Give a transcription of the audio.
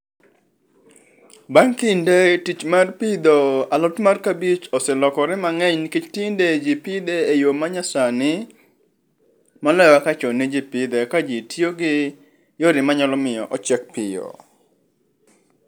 Bang kinde tich mar pidho alot mar kabich oselokore mangeny nikech tinde jii pidhe e yoo manyasani moloyo kaka chon ne jii pidhe ka jii tiyo gi yore manyalo miyo ochiek piyo